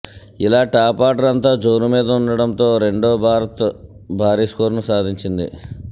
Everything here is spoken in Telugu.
ఇలా టాప్ ఆర్డర్ అంతా జోరుమీదుండడంతో రెండో భారత్ భారీ స్కోరును సాధించింది